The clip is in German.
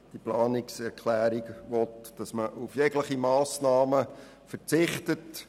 Die Planungserklärung will auf jegliche Massnahmen verzichten.